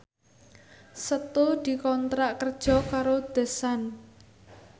Setu dikontrak kerja karo The Sun